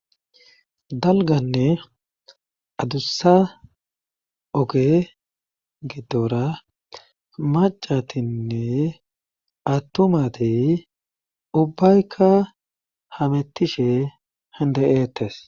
Dalganne adussa oge gidora macatinne attumati ubbaykka hamettishe hindayeettes